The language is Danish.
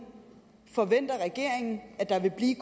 forventer regeringen at der vil blive